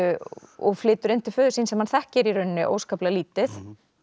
og flytur inn til föður síns sem hann þekkir í rauninni óskaplega lítið